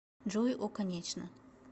джой о конечно